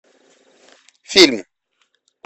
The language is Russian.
фильм